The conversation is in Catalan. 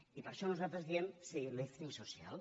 i per això nosaltres diem sí lífting social